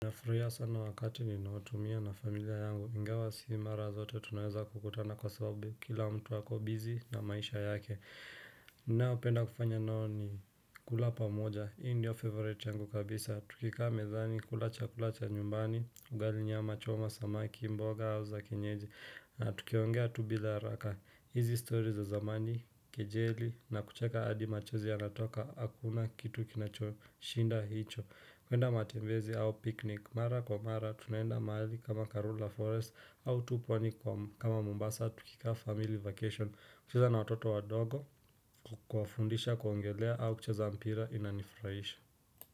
Nafurahia sana wakati ninaotumia na familia yangu, ingawa sii mara zote tunaweza kukutana kwa sababu kila mtu ako busy na maisha yake ninaopenda kufanya nao ni kula pamoja, hii ndio favorite yangu kabisa Tukikaa medhani, kula chakula cha nyumbani, ugali nyama, choma, samaki, mboga, hauza, kenyeji na tukiongea tu bila raka, hizi stori za zamani, kejeli, na kucheka adi machozi yanatoka, hakuna kitu kinachoshinda hicho. Huenda matembezi au picnic, mara kwa mara, tunaenda mahali kama Karula Forest au tu pwani kama Mombasa tukikaa family vacation, kucheza na watoto wadogo, kuwafundisha kuongelea au kucheza mpira inanifuraisha.